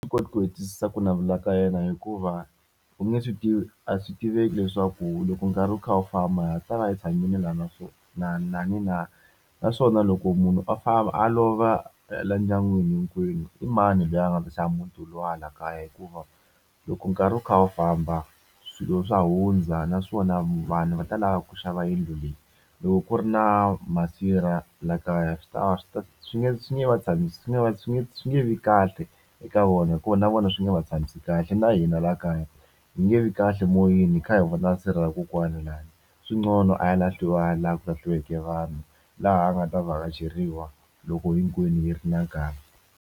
Swi koti ku hetisisa ku navela ka yena hikuva u nge swi tivi a swi tiveki leswaku loko nkarhi wu kha wu famba ha ha ta va hi tshamile lani na naswona na na na naswona loko munhu a famba a lova laha ndyangwini hinkwenu i mani loyi a nga ta xava muti wolowo laha kaya hikuva loko nkarhi wu kha wu famba swilo swa hundza naswona vanhu va ta lava ku xava yindlu leyi loko ku ri na masirha la kaya swi ta va swi ta swi nge swi nge va tshamisi swi nge va nge swi nge vi kahle eka vona hikuva na vona swi nga va tshamisi kahle na hina laha kaya yi nge vi kahle moyeni hi kha hi vona sirha ra kokwana lahaya swi nqono a ya lahliwa laha ku lahliweke vanhu laha a nga ta vhakacheriwa loko hinkwenu hi ri na nkarhi.